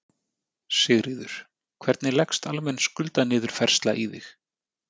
Sigríður: Hvernig leggst almenn skuldaniðurfærsla í þig?